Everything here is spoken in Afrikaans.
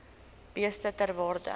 beeste ter waarde